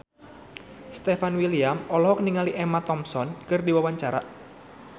Stefan William olohok ningali Emma Thompson keur diwawancara